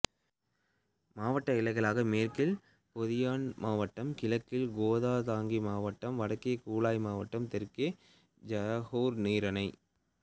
மாவட்ட எல்லைகளாக மேற்கில் பொந்தியான் மாவட்டம் கிழக்கில் கோத்தா திங்கி மாவட்டம் வடக்கே கூலாய் மாவட்டம் தெற்கே ஜொகூர் நீரிணை